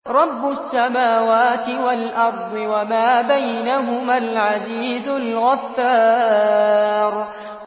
رَبُّ السَّمَاوَاتِ وَالْأَرْضِ وَمَا بَيْنَهُمَا الْعَزِيزُ الْغَفَّارُ